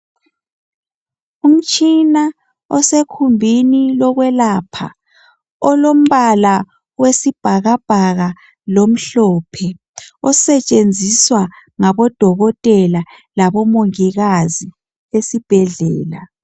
Umtshina osekhumbini lokwelapha. Olombala wesibhakabhaka lomhlophe. Osetshenziswa ngabodokotela labomongikazi esibhedlela.